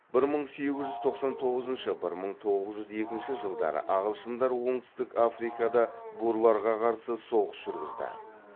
бір мың сегіз жүз тоқсан тоғызыншы бір мың тоғыз жүз екінші жылы ағылшындар оңтүстік африкада бурларға қарсы соғыс жүргізді